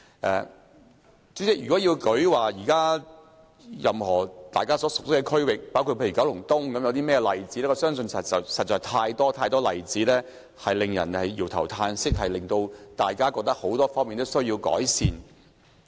代理主席，如果要列舉大家熟悉的區域，包括九龍東為例，我相信實在有太多例子令人搖頭嘆息，覺得很多方面都需要改善。